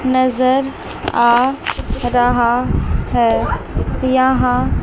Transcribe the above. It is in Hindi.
नजर आ रहा है यहां--